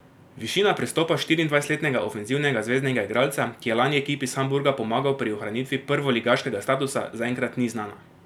Višina prestopa štiriindvajsetletnega ofenzivnega zveznega igralca, ki je lani ekipi iz Hamburga pomagal pri ohranitvi prvoligaškega statusa, zaenkrat ni znana.